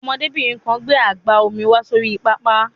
Ọmọdébìnrin kan gbé àgbá omi wá sórí pápá.